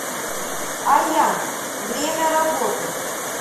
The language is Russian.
аян время работы